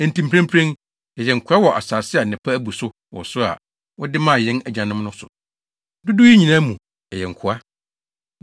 “Enti mprempren, yɛyɛ nkoa wɔ asase a nnepa abu so wɔ so a wode maa yɛn agyanom no so. Dodow yi nyinaa mu, yɛyɛ nkoa.